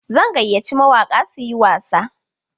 Zan gayyaci mawaƙa su yi wasa.